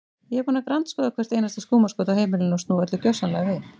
Ég er búin að grandskoða hvert einasta skúmaskot á heimilinu og snúa öllu gjörsamlega við.